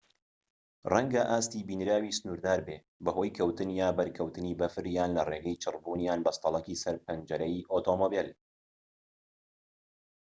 ڕەنگە ئاستی بینراویی سنووردار بێت بەهۆی کەوتن یان بەرکەوتنی بەفر یان لە ڕێگەی چڕبوون یان بەستەڵەکی سەر پەنجەرەی ئۆتۆمبێل